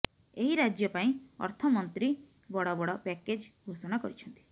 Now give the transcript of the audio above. ଏହି ରାଜ୍ୟ ପାଇଁ ଅର୍ଥମନ୍ତ୍ରୀ ବଡ ବଡ ପ୍ୟାକେଜ୍ ଘୋଷଣା କରିଛନ୍ତି